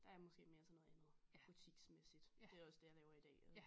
Der er jeg måske mere til noget andet butiksmæssigt det er også det jeg laver i dag og